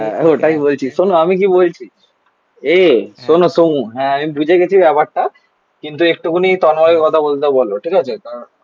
হ্যাঁ ওটাই বলছি. শোনো আমি কি বলছি? এ শোনো সোমু. হ্যাঁ আমি বুঝে গেছি ব্যাপারটা একটুখানি তন্ময় এর কথা বলতে বলো ঠিকাছে কারন